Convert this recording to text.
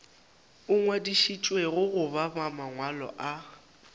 a ngwadišitšwego goba mangwalo a